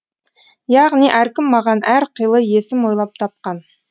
яғни әркім маған әр қилы есім ойлап тапқан